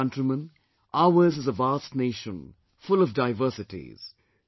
My dear countrymen, ours is a vast nation, full of diversities